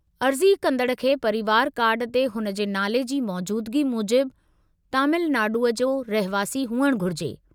अर्ज़ी कंदड़ खे परिवर कार्ड ते हुन जे नाले जी मौजूदिगी मूजिबु तमिलनाडुअ जो रहिवासी हुअणु घुरिजे।